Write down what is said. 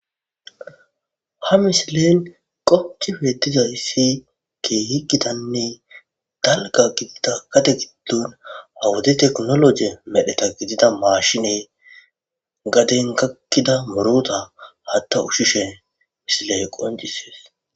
ha misilen qoci feetizayssi ke higitanne dalga gidida kate giddun awudi teknoloje medheta gidida maashine gaden kakkida morota hatta ushishe misile qoncises